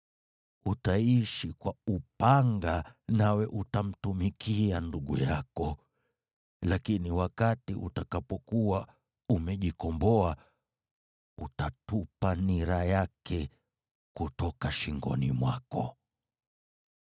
Utaishi kwa upanga, nawe utamtumikia ndugu yako, lakini wakati utakapokuwa umejikomboa, utatupa nira yake kutoka shingoni mwako.”